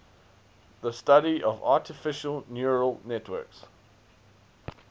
the study of artificial neural networks